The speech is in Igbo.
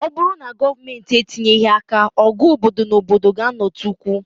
Ọ bụrụ na Gọọmentị etinyeghị àkà, ọgụ obodo na obodo ga-ạnọtukwu